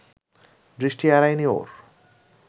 দৃষ্টি এড়ায়নি ওর